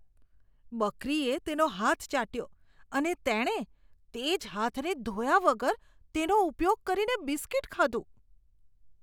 બકરીએ તેનો હાથ ચાટ્યો, અને તેણે તે જ હાથને ધોયા વગર તેનો ઉપયોગ કરીને બિસ્કીટ ખાધું.